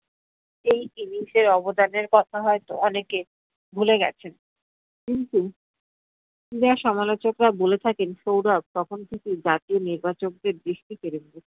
এই innings এর অবদানের কথা হয়তো অনেকে ভুলে গেছেন, কিন্তু ক্রীড়া সমালোচকরা বলে থাকেন সৌরভ তখন থেকেই জাতীয় নির্বাচকদের দৃষ্টি কেড়েছে।